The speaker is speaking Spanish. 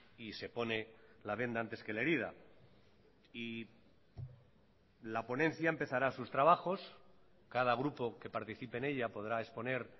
y se pone la venda antes que la herida y la ponencia empezará sus trabajos cada grupo que participe en ella podrá exponer